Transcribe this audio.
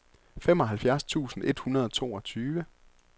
femoghalvfjerds tusind et hundrede og toogtyve